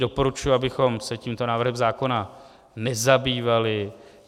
Doporučuji, abychom se tímto návrhem zákona nezabývali.